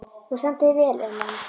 Þú stendur þig vel, Ellen!